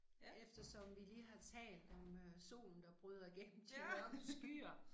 Ja. Ja